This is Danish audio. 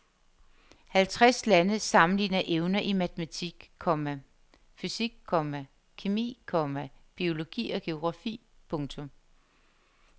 Halvtreds lande sammenligner evner i matematik, komma fysik, komma kemi, komma biologi og geografi. punktum